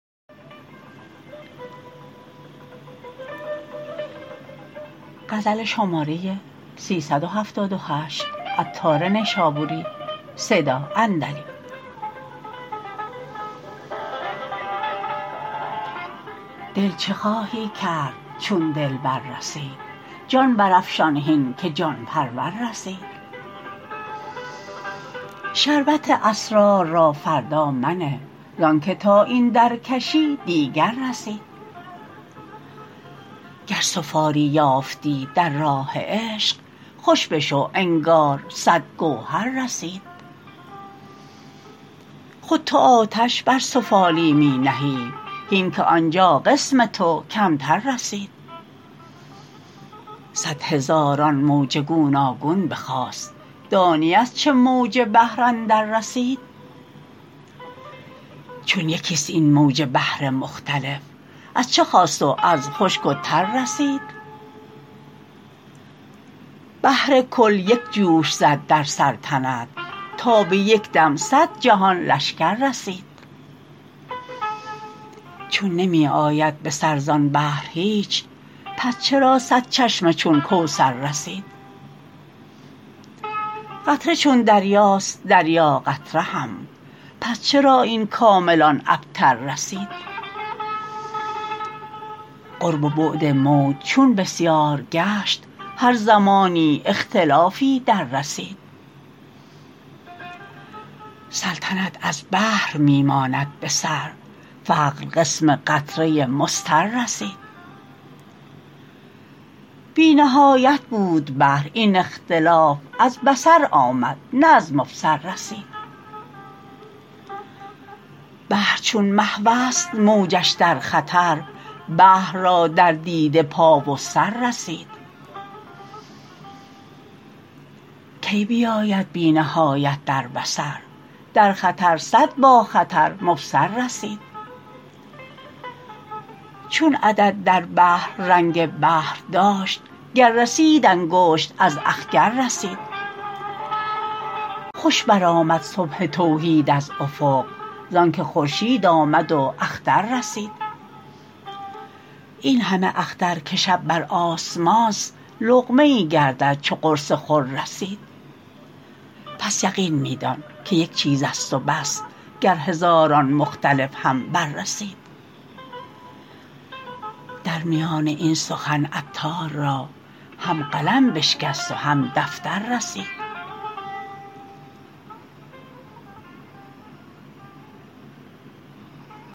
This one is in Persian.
دل چه خواهی کرد چون دلبر رسید جان برافشان هین که جان پرور رسید شربت اسرار را فردا منه زانکه تا این درکشی دیگر رسید گر سفالی یافتی در راه عشق خوش بشو انگار صد گوهر رسید خود تو آتش بر سفالی می نهی هین که آنجا قسم تو کمتر رسید صد هزاران موج گوناگون بخاست دانی از چه موج بحر اندر رسید چون یکی است این موج بحر مختلف از چه خاست و از چه خشک و تر رسید بحر کل یک جوش زد در سلطنت تا به یکدم صد جهان لشکر رسید چون نمی آید به سر زان بحر هیچ پس چرا صد چشمه چون کوثر رسید قطره چون دریاست دریا قطره هم پس چرا این کامل آن ابتر رسید قرب و بعد موج چون بسیار گشت هر زمانی اختلافی در رسید سلطنت از بحر می ماند به سر بحر قسم قطره مضطر رسید بی نهایت بود بحر این اختلاف از بصر آمد نه از مبصر رسید بحر چون محوست موجش در خطر بحر را در دیده پا و سر رسید کی بیاید بی نهایت در بصر در خطر صد با خطر مبصر رسید چون عدد در بحر رنگ بحر داشت گر رسید انگشت از اخگر رسید خوش برآمد صبح توحید از افق زانکه خورشید آمد و اختر رسید این همه اختر که شب بر آسمانست لقمه ای گردد چو قرص خور رسید پس یقین می دان که یک چیز است و بس گر هزاران مختلف هم بررسید در میان این سخن عطار را هم قلم بشکست و هم دفتر رسید